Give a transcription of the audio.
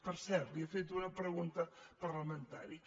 per cert li he fet una pregunta parlamentària